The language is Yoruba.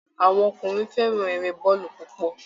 Àwọn ọkùnrin fẹ́ran eré bọ́ọ̀lù púpọ̀